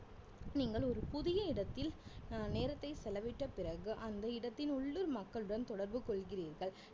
நீங்கள் ஒரு புதிய இடத்தில் அஹ் நேரத்தை செலவிட்ட பிறகு அந்த இடத்தின் உள்ளூர் மக்களுடன் தொடர்பு கொள்கிறீர்கள்